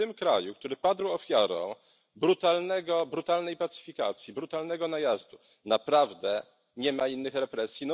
Czy w tym kraju, który padł ofiarą brutalnej pacyfikacji, brutalnego najazdu, naprawdę nie ma innych represji?